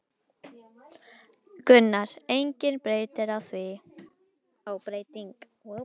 Þessu munum við halda áfram.